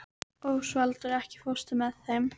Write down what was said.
Ósvaldur, ekki fórstu með þeim?